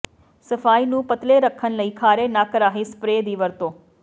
ਸਫਾਈ ਨੂੰ ਪਤਲੇ ਰੱਖਣ ਲਈ ਖਾਰੇ ਨੱਕ ਰਾਹੀਂ ਸਪਰੇਅ ਦੀ ਵਰਤੋਂ